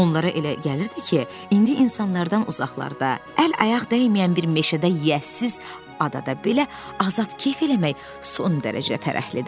Onlara elə gəlirdi ki, indi insanlardan uzaqlarda, əl-ayaq dəyməyən bir meşədə yiyəsiz adada belə azad kef eləmək son dərəcə fərəhlidir.